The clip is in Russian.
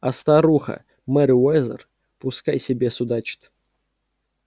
а старуха мерриуэзер пускай себе судачит